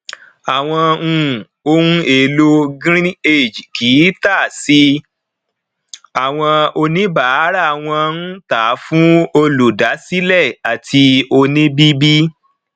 àwọn um ohun èlò greenage kì í tà sí àwọn oníbàárà wón ń tà fún olùdásílè àti oníbìbì